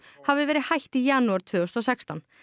hafi verið hætt í janúar tvö þúsund og sextán